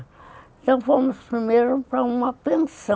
Então, fomos primeiro para uma pensão,